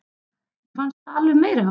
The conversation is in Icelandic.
Mér fannst það alveg meiriháttar!